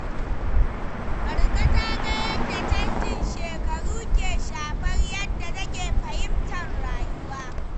Marka ta ga yadda canjin shekaru ke shafar yadda take fahimtar rayuwa.